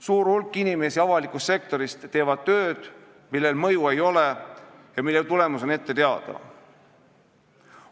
Suur hulk inimesi avalikust sektorist teeb tööd, millel mõju ei ole ja mille tulemus on ette teada.